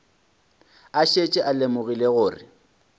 a šetše a lemogile gore